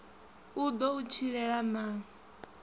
u ḓo u tshilela na